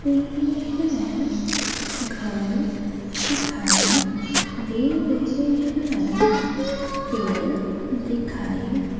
यहां घर दिखाई दे रहे हैं। पेड़ दिखाई--